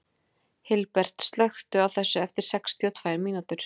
Hilbert, slökktu á þessu eftir sextíu og tvær mínútur.